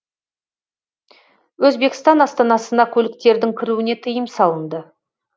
өзбекстан астанасына көліктердің кіруіне тыйым салынды